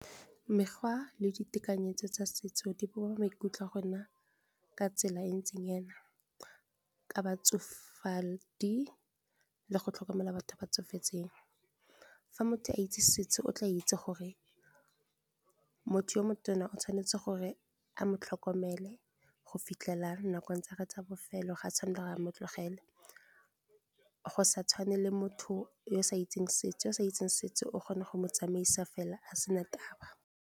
Mekgwa le ditekanyetso tsa setso di bopa maikutlo a rona ka tsela e ntseng jaana, Ka ba tsofadi le go tlhokomela batho ba tsofetseng. Fa motho a itse setso o tla itse gore motho yo motona o tshwanetse gore a mo tlhokomele, go fitlhela nakong tsa gagwe tsa bofelo. Ga a tshwanela gore a mo tlogele, go sa tshwane le motho yo o sa itseng setso, o kgona go tsamaisa fela a sena taba.